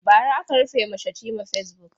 Bara aka rufe ma Shatima fasebuk.